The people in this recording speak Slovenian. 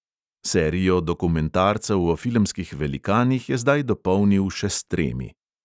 Serijo dokumentarcev o filmskih velikanih je zdaj dopolnil še s tremi.